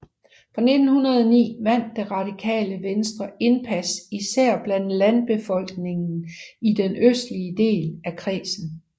Fra 1909 vandt Det Radikale Venstre indpas især blandt landbefolkningen i den østlige del af kredsen